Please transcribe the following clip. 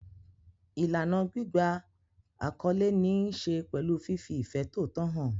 Ìlànà gbígba àkọlé ní í ṣe pẹ̀lú fífi ìfẹ́ tòótọ́ hàn.